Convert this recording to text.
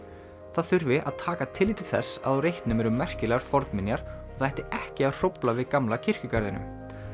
það þurfi að taka tillit til þess á reitnum eru merkilegar fornminjar það ætti ekki að hrófla við gamla kirkjugarðinum